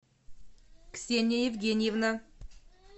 ксения евгеньевна